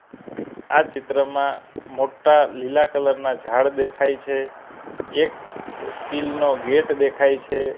આ ચિત્રમાં મોટ્ટા લીલા કલર ના ઝાડ દેખાય છે એક સ્ટીલ નો ગેટ દેખાય છે.